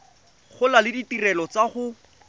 gola le ditirelo tsa go